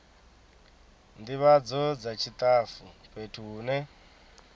ndivhadzo dza tshitafu fhethu hune